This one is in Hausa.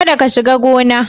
Kada ka shiga gona